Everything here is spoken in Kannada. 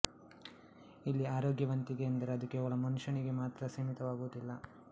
ಇಲ್ಲಿ ಆರೋಗ್ಯವಂತಿಕೆ ಎಂದರೆ ಅದು ಕೇವಲ ಮನುಷ್ಯನಿಗೆ ಮಾತ್ರ ಸೀಮಿತವಾಗುವುದಿಲ್ಲ